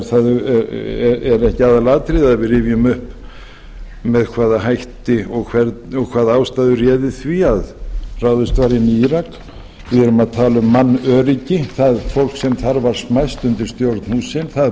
er ekki aðalatriðið að við rifjum upp með hvaða hætti og hvaða ástæður réðu því að ráðist var inn í írak við erum að tala um mannöryggi það fólk sem þar var smæst undir stjórn